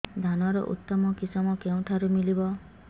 ଧାନର ଉତ୍ତମ କିଶମ କେଉଁଠାରୁ ମିଳିବ